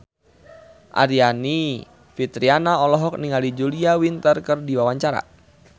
Aryani Fitriana olohok ningali Julia Winter keur diwawancara